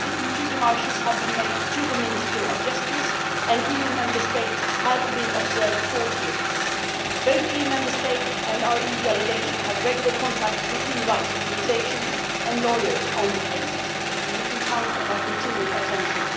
Two démarches have been made to the Minister of Justice and EU Member States have been observing court hearings. Both EU Member States and our EU delegation have regular contact with human rights organisations and lawyers on the cases and you can count on our continued attention.